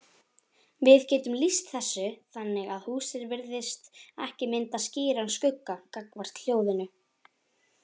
Við getum lýst þessu þannig að húsið virðist ekki mynda skýran skugga gagnvart hljóðinu.